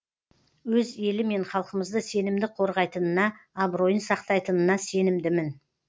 өз елі мен халқымызды сенімді қорғайтынына абыройын сақтайтынына сенімдімін